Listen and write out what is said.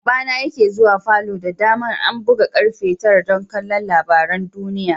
Baba na yake zuwa falo da dama an buga karfe tara dan ƙalla labarin duniyya.